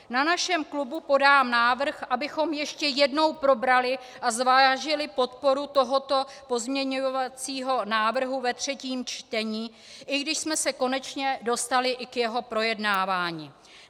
Na našem klubu podám návrh, abychom ještě jednou probrali a zvážili podporu tohoto pozměňovacího návrhu ve třetím čtení, i když jsme se konečně dostali i k jeho projednávání.